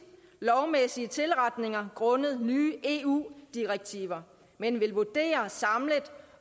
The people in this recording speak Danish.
lovmæssige tilretninger grundet nye eu direktiver men vil vurdere samlet